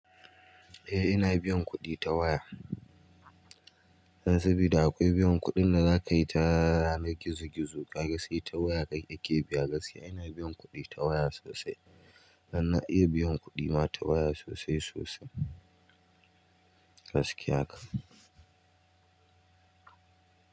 Eh ina biyan kuɗi ta waya. Sabida akwai biyan kuɗin da za ka yi ta yanan gizo-gizo. Ka ga sai ta waya ka ke biya. Gaskiya ina biyan kuɗi ta waya sosai. Dan na iya biyan kuɗi ma ta waya sosai sosai. Gaskiya haka.